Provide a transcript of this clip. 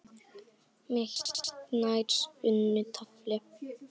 með hartnær unnu tafli.